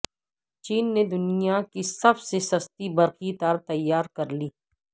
چین نے دنیا کی سب سے سستی برقی کارتیار کر لی